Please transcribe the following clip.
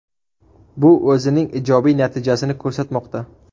Bu o‘zining ijobiy natijasini ko‘rsatmoqda.